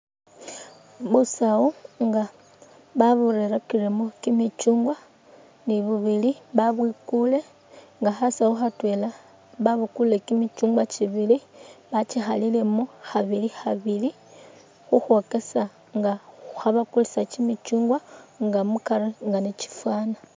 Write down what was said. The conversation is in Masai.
Busawu nga baburerakilemu kimicyuungwa nga ni bubili, bwabwikuule nga khasawu khatwela babukule kimicyuungwa kibili bakikhalilemu khabili khabili khukhwokesa nga khabakulisa kimicyungwa nga mukari nga ni kifwaana.